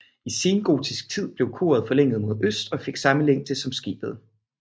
I sengotisk tid blev koret forlænget mod øst og fik samme længde som skibet